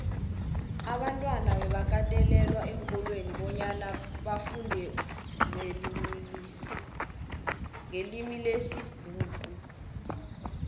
abantwana bebakatelelwa eenkolweni bonyana bafundenqelimilesibhuxu